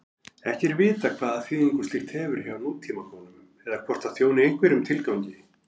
Ekki er vitað hvaða þýðingu slíkt hefur hjá nútímakonum eða hvort það þjóni einhverjum tilgangi.